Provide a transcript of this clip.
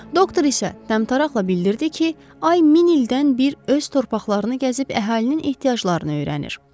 Doktor isə təmtəraqlə bildirdi ki, ay min ildən bir öz torpaqlarını gəzib əhalinin ehtiyaclarını öyrənir.